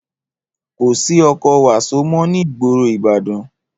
Kò sí ọkọ̀ wàsó mó ní ìgboro Ìbàdàn